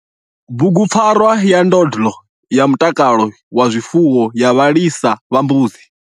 BUGUPFARWA YA NDONDLO YA MUTAKALO WA ZWIFUWO YA VHALISA VHA MBUDZI.